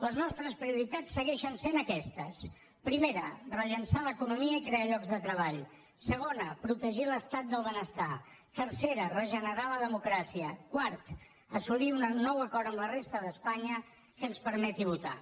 les nostres prioritats segueixen sent aquestes primera rellançar l’economia i crear llocs de treball segona protegir l’estat del benestar tercera regenerar la democràcia quarta assolir un nou acord amb la resta d’espanya que ens permeti votar